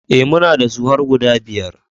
E, muna da su har guda biyar.